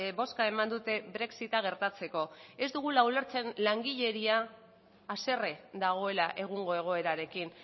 bozka eman dute brexita gertatzeko ez dugula ulertzen langileria haserre dagoela egungo egoerarekin